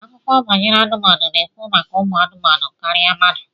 Akụkọ banyere anụmanụ na-ekwu maka umu anumanu karịa mmadụ